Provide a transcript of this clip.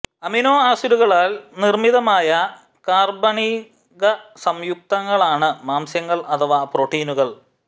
amino ആസിഡുകളാൽ നിർമ്മിതമായ കാർബണീക സംയുക്തങ്ങളാണ് മാംസ്യങ്ങൾ അഥവാ പ്രോട്ടീനുകൾ